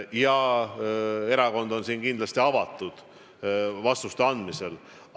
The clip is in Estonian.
Ja erakond on siin kindlasti avatud vastuste andmisel.